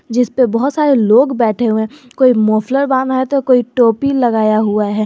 जिसपे बहोत सारे लोग बैठे हुए हैं कोई मोफलर बान्हा है तो कोई टोपी लगाया हुआ है।